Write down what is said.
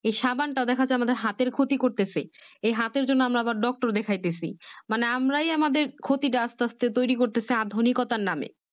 এই সাবান টা দেখাযাচ্ছে আমাদের হাতের ক্ষতি করতেছে এই হাতের জন্য আমরা আবার Doctot দেখছি মানে আমরাই আমাদের ক্ষতিটা আস্তে আস্তে ট্যুরে করতেছি আধুনিকতার নাম